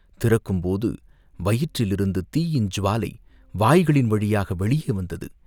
திறக்கும்போது வயிற்றிலிருந்து தீயின் ஜ்வாலை வாய்களின் வழியாக வெளியே வந்தது.